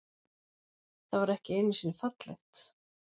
Það var ekki einusinni fallegt.